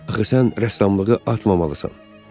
Axı sən rəssamlığı atmamalısan.